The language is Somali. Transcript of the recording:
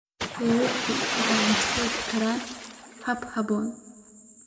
Xeerarku waxay horseedaan korriin habboon.